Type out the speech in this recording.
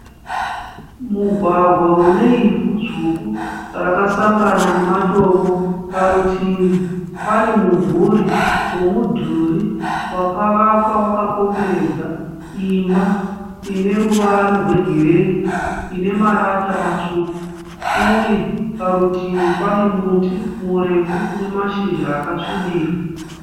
Mugwagwa une ivhu dzvuku rakasangana namatombo. Parutivi pane mumvuri womudhuri wakavakwa wakakomberedza imba ine ruvara gwegireyi ine marata matsvuku uye parutivi pane muti murefu une mashizha akasvibira.